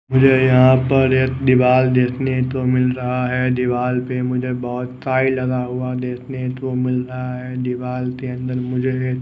मुझे यहां पर एक दीवाल देखने को मिल रहा है दीवाल पे मुझे बहुत काई लगा हुआ देखने को मिल रहा है दीवाल के अंदर मुझे--